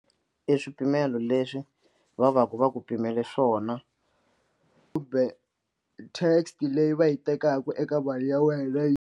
I swipimelo leswi va va ku va ku pimele swona kumbe tax leyi va yi tekaka eka mali ya wena yi.